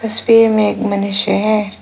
उसे पेड़ में एक मनुष्य है।